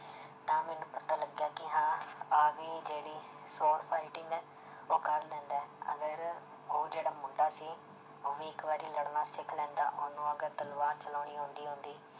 ਤਾਂ ਮੈਨੂੰ ਪਤਾ ਲੱਗਿਆ ਕਿ ਹਾਂ ਆਹ ਵੀ ਜਿਹੜੀ sword fighting ਹੈ ਉਹ ਕਰ ਲੈਂਦਾ ਹੈ ਅਗਰ ਉਹ ਜਿਹੜਾ ਮੁੰਡਾ ਸੀ ਉਹ ਵੀ ਇੱਕ ਵਾਰੀ ਲੜਨਾ ਸਿੱਖ ਲੈਂਦਾ ਉਹਨੂੰ ਅਗਰ ਤਲਵਾਰ ਚਲਾਉਣੀ ਆਉਂਦੀ ਹੁੰਦੀ